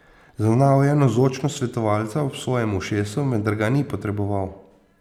Zaznal je navzočnost svetovalca ob svojem ušesu, vendar ga ni potreboval.